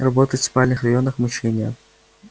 работать в спальных районах мучение